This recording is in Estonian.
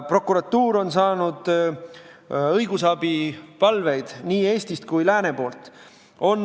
Prokuratuur on saanud õigusabipalveid nii idast kui ka lääne poolt.